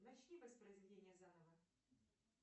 начни воспроизведение заново